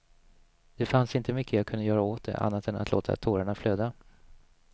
Det fanns inte mycket jag kunde göra åt det, annat än att låta tårarna flöda.